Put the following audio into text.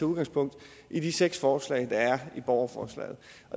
udgangspunkt i de seks forslag der er i borgerforslaget